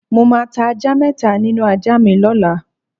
Mo máa ta ajá mé̩ta nínú ajá mi ló̩la.